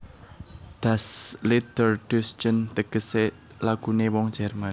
Das Lied der Deutschen tegesé Laguné wong Jerman